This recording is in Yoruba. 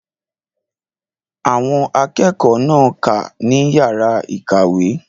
Àwọn akẹ́kọ̀ọ́ náà kà á ní yàrá ìkàwé.